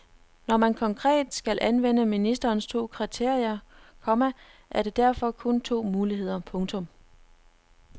Når man konkret skal anvende ministerens to kriterier, komma er der derfor kun to muligheder. punktum